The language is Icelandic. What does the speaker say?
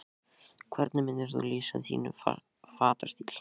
Hvernig myndir þú lýsa þínum fatastíl?